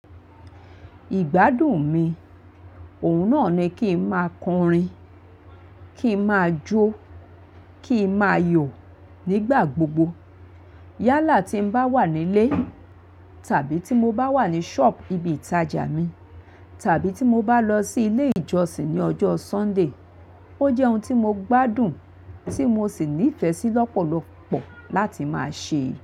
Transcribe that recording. Ìgbádùn mi, òun náà ni kí n máa kọrin, kí n máa jó, kí n máa yò nígbà gbogbo. Yálà tí n bá wà nílé tàbí tí mo bá wà ní shop ibi ìtajà mi tàbí tí mo bá lọ sí ilé ìjọsìn ní ọjọ́ Sunday. Ó jẹ́ ohun tí mo gbádùn tí mo sì nífẹ̀ẹ́ sí lọ́pọ̀lọ́pọ̀ láti máa ṣe.